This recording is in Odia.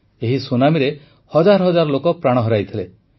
ଏହି ସୁନାମୀରେ ହଜାର ହଜାର ଲୋକ ପ୍ରାଣ ହରାଇଥିଲେ